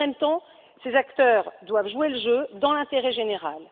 En même temps, ces acteurs doivent jouer le jeu, dans l'intérêt général.